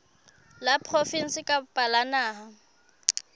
la provinse kapa la naha